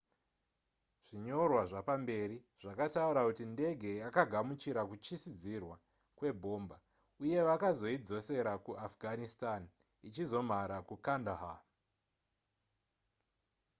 zvinyorwa zvapamberi zvakataura kuti ndenge yakagamuchira kuchisidzirwa kwebhomba uye vakazoidzosera ku afghanitstan ichizomhara mukandahar